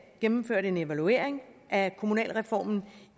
gennemført en evaluering af kommunalreformen